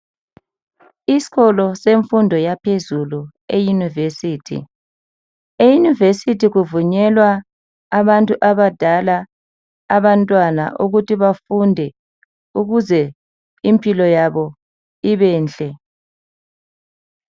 isikolo semfundo yaphezulu e university e university kuvunyelwa abantu abadala abantwana ukuthi bafunde ukuze impilo yabo ibenhle